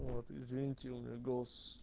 вот извините у меня голос